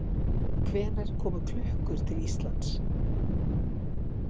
Hvenær komu klukkur til Íslands?